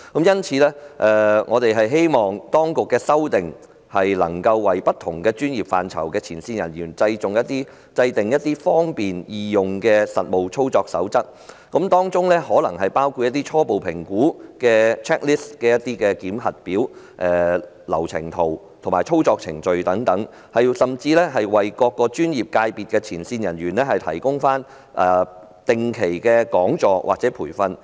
因此，我們希望當局能作出修訂，為不同專業範疇的前線人員制訂一份方便易用的實務操作手冊，例如提供初步評估檢核表、流程圖及操作程序等，甚至為各專業界別的前線人員提供定期講座或培訓。